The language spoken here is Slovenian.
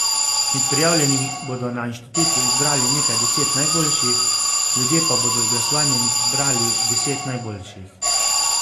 Med prijavljenimi bodo na inštitutu izbrali nekaj deset najboljših, ljudje pa bodo z glasovanjem izbrali deset najboljših.